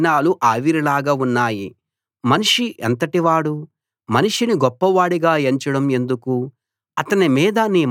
మనిషి ఎంతటి వాడు మనిషిని గొప్పవాడిగా ఎంచడం ఎందుకు అతని మీద నీ మనస్సు నిలపడం ఎందుకు